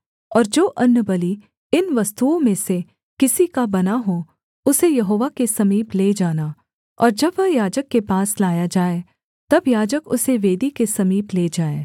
और जो अन्नबलि इन वस्तुओं में से किसी का बना हो उसे यहोवा के समीप ले जाना और जब वह याजक के पास लाया जाए तब याजक उसे वेदी के समीप ले जाए